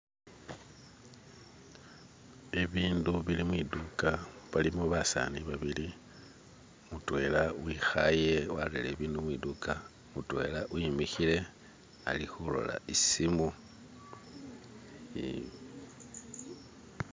Bibindu bili mwiduka balimo basani babili mutwela wikhaye warele bindu mwidukha mutwela wimikhile alikulola isimu